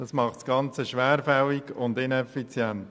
Das macht das Ganze schwerfällig und ineffizient.